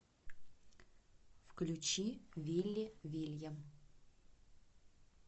включи вилли вильям